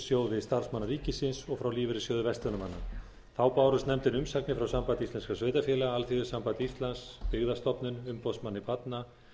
lífeyrissjóði starfsmanna ríkisins og frá lífeyrissjóði verslunarmanna þá bárust nefndinni umsagnir frá sambandi íslenskra sveitarfélaga alþýðusambandi íslands byggðastofnun umboðsmanni barna